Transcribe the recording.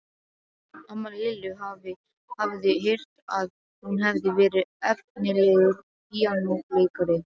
Amma Lillu hafði heyrt að hún hefði verið efnilegur píanóleikari.